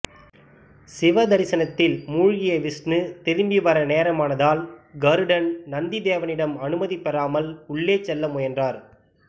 சிவதரிசனத்தில் மூழ்கிய விஷ்ணு திரும்பிவர நேரமானதால் கருடன் நந்திதேவனிடம் அனுமதி பெறாமல் உள்ளே செல்ல முயன்றார்